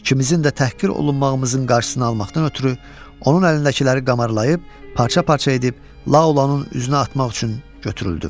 İkimizin də təhqir olunmağımızın qarşısını almaqdan ötrü onun əlindəkiləri qamarlayıb, parça-parça edib Laulanın üzünə atmaq üçün götürüldüm.